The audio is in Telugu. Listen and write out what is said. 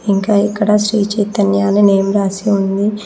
ఇంకా ఇక్కడ శ్రీ చైతన్య అని నేమ్ రాసి ఉంది.